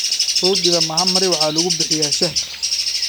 Roodhida Mahamri waxa lagu bixiyaa shaah.